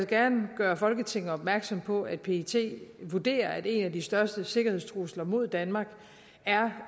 gerne gøre folketinget opmærksom på at pet vurderer at en af de største sikkerhedstrusler mod danmark er